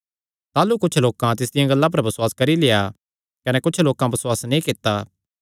ताह़लू कुच्छ लोकां तिसदिया गल्लां पर बसुआस करी लेआ कने कुच्छ लोकां बसुआस नीं कित्ता